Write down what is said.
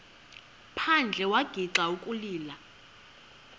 phandle wagixa ukulila